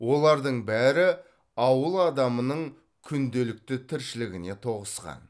олардың бәрі ауыл адамының күнделікті тіршілігіне тоғысқан